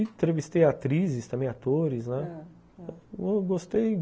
Entrevistei atrizes, também atores, né, gostei